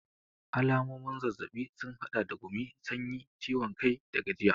Alamomin zazzabi sun hada da gumi, sanyi, ciwon kai da gajiya.